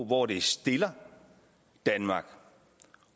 hvor det stiller danmark